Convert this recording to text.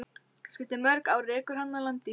Kannski eftir mörg ár rekur hana að landi í fjörunni.